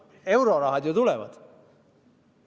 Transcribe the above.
–, et eurorahad ju tulevad.